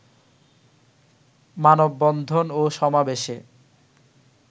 মানববন্ধন ও সমাবেশে